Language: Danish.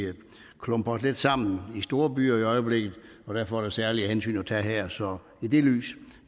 klumper os lidt sammen i storbyer i øjeblikket og derfor er der særlige hensyn at tage her så i det lys